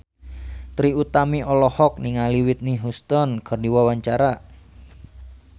Trie Utami olohok ningali Whitney Houston keur diwawancara